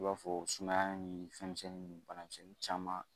I b'a fɔ sumaya ni fɛn misɛnnin bana misɛnnin caman